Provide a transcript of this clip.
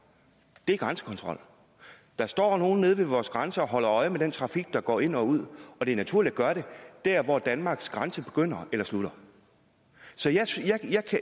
er grænsekontrol der står nogle nede ved vores grænser og holder øje med den trafik der går ind og ud og det er naturligt at gøre det der hvor danmarks grænse begynder eller slutter så